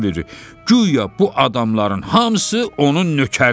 Guya bu adamların hamısı onun nökəridir.